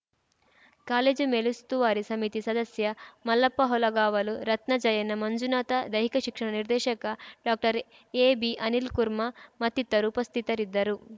college ಮೇಲುಸ್ತುವಾರಿ ಸಮಿತಿ ಸದಸ್ಯ ಮಲ್ಲಪ್ಪ ಹೊಲಗಾವಲು ರತ್ನ ಜಯಣ್ಣ ಮಂಜುನಾಥ ದೈಹಿಕ ಶಿಕ್ಷಣ ನಿರ್ದೇಶಕ ಡಾಕ್ಟರ್ಎಬಿ ಅನಿಲ್‌ಕುರ್ಮಾ ಮತ್ತಿತರರು ಉಪಸ್ಥಿತರಿದ್ದರು